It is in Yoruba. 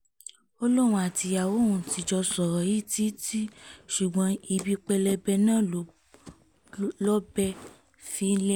ó lóun àtìyàwó òun ti jọ sọ̀rọ̀ yìí títí ṣùgbọ́n ibi pẹlẹbẹ náà ló lọ̀bẹ fi ń lélẹ̀